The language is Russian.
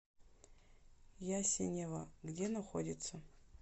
ясенево где находится